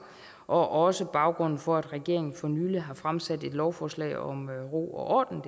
og det er også baggrunden for at regeringen for nylig har fremsat et lovforslag om ro og orden